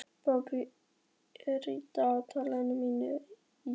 Bambi, hvað er í dagatalinu mínu í dag?